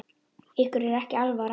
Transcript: Ykkur er ekki alvara!